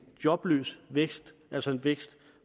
jobløs vækst altså en vækst